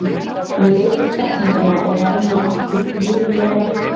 Hún leit á kettlingana og varð nú aftur blíðleg á svipinn.